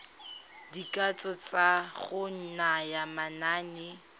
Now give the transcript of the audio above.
dikatso tsa go naya manane